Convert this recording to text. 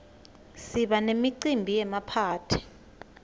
siba nemicimbi yemaphathi